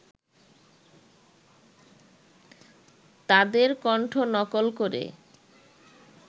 তাদের কণ্ঠ নকল করে